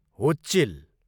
हुच्चिल